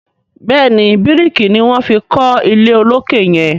béèni biriki ní wón fí kò ilé olokè yen.